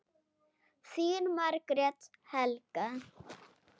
Þín Margrét Helga.